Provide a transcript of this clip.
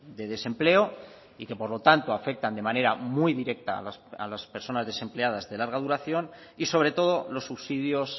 de desempleo y que por lo tanto afectan de manera muy directa a las personas desempleadas de larga duración y sobre todo los subsidios